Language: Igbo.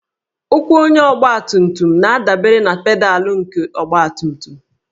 Ụkwụ onye ọgbatumtum na-adabere na pedalụ nke ọgbatumtum